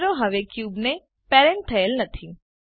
કેમેરો હવે ક્યુબને પેરેન્ટ થયેલ નથી